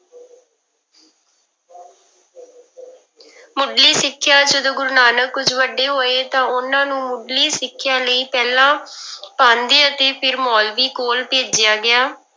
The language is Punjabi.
ਮੁੱਢਲੀ ਸਿੱਖਿਆ, ਜਦੋਂ ਗੁਰੂ ਨਾਨਕ ਕੁੁੱਝ ਵੱਡੇ ਹੋਏ ਤਾਂ ਉਹਨਾਂ ਨੂੰ ਮੁੱਢਲੀ ਸਿੱਖਿਆ ਲਈ ਪਹਿਲਾਂ ਪਾਂਧੇ ਅਤੇ ਫਿਰ ਮੋਲਵੀ ਕੋਲ ਭੇਜਿਆ ਗਿਆ।